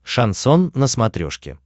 шансон на смотрешке